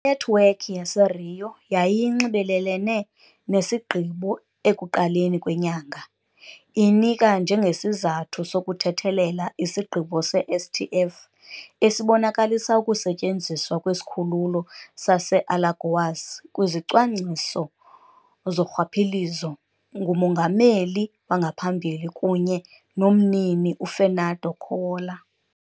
Inethiwekhi yaseRio yayinxibelelene nesigqibo ekuqaleni kwenyanga, inika njengesizathu sokuthethelela isigqibo se-STF esibonakalisa ukusetyenziswa kwesikhululo sase-Alagoas kwizicwangciso zorhwaphilizo ngumongameli wangaphambili kunye nomnini uFernando Collor.